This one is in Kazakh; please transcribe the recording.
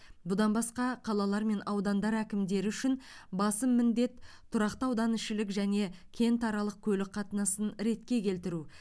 бұдан басқа қалалар мен аудандар әкімдері үшін басым міндет тұрақты ауданішілік және кентаралық көлік қатынасын ретке келтіру